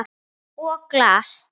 Og glas.